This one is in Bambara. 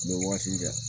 N bɛ waati jan